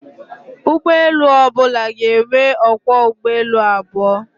Ụgbọelu ọbụla ga-enwe ọkwọ ụgbọelu abụọ